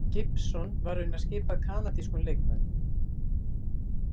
Gibson, var raunar skipað kanadískum leikmönnum.